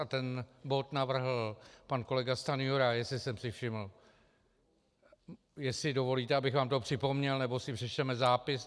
A ten bod navrhl pan kolega Stanjura, jestli jsem si všiml, jestli dovolíte, abych vám to připomněl, nebo si přečteme zápis.